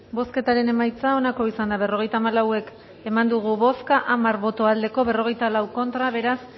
bozketaren emaitza onako izan da berrogeita hamalau eman dugu bozka hamar boto aldekoa cuarenta y cuatro contra beraz